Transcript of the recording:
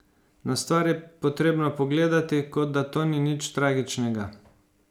Na stvar je potrebno pogledati, kot da to ni nič tragičnega.